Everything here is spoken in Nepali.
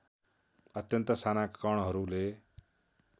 अत्यन्त साना कणहरूले